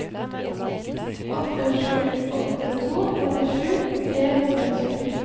åtte sju åtte to trettisju tre hundre og tjueni